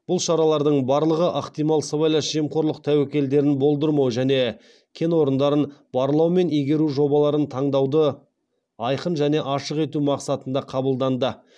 бұл шаралардың барлығы ықтимал сыбайлас жемқорлық тәуекелдерін болдырмау және кен орындарын барлау мен игеру жобаларын таңдауды айқын және ашық ету мақсатында қабылданды